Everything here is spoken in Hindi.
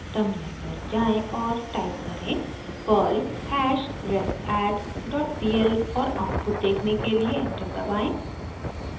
टर्मिनल पर जाएँ और टाइप करें: perl hashrefadd डॉट pl और आउटपुट देखने के लिए एंटर दबाएं